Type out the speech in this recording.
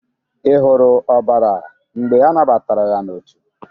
Ị hụrụ ọbara mgbe anabatara ya n'otu?